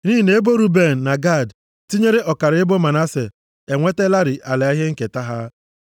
Nʼihi na ebo Ruben na Gad tinyere ọkara ebo Manase, enwetalarị ala ihe nketa ha.